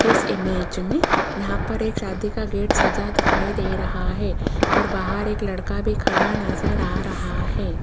इस इमेज में यहां पर एक शादी का गेट सजा दिखाई दे रहा है और बाहर एक लड़का भी खड़ा नजर आ रहा है।